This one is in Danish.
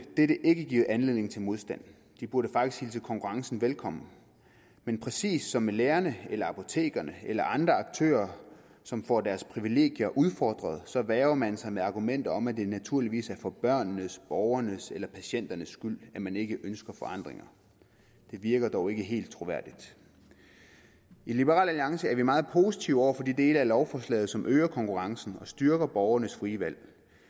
ikke give anledning til modstand de burde faktisk hilse konkurrencen velkommen men præcis som med lærerne eller apotekerne eller andre aktører som får deres privilegier udfordret værger man for sig med argumenter om at det naturligvis er for børnenes borgernes eller patienternes skyld at man ikke ønsker forandringer det virker dog ikke helt troværdigt i liberal alliance er vi meget positive over for de dele af lovforslaget som øger konkurrencen og styrker borgernes frie valg